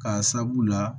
K'a sabu la